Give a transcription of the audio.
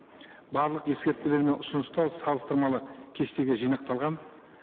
барлық ескертпелер мен ұсыныстар салыстырмалы кестеге жинақталған